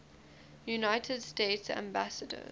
united states ambassadors